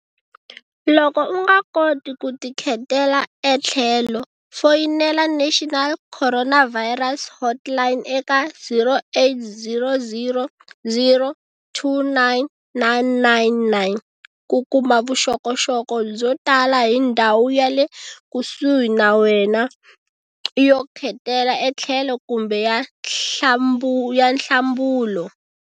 Loko u nga koti ku tikhetela etlhelo, foyinela National Coronavirus Hotline eka0800 029 999 ku kuma vuxokoxoko byo tala hi ndhawu yale kusuhi na wena yo khetela etlhelo kumbe ya nhlambulo.